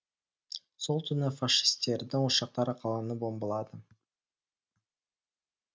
сол түні фашистердің ұшақтары қаланы бомбылады